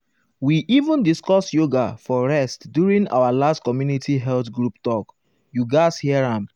we even discuss yoga for rest during our last community health group talk you gatz hear am.